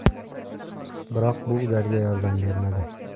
Biroq bu ularga yordam bermadi.